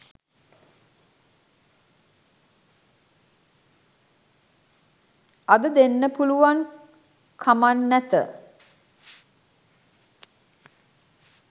අද දෙන්න පුළුවන් කමන් නැත.